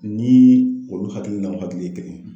Ni olu hakili n'anw hakili ye kelen ye.